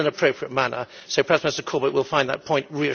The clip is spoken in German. Vielen Dank für die aufklärende Bemerkung.